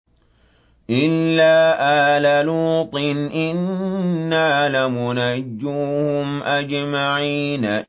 إِلَّا آلَ لُوطٍ إِنَّا لَمُنَجُّوهُمْ أَجْمَعِينَ